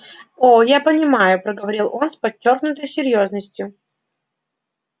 о я понимаю проговорил он с подчёркнутой серьёзностью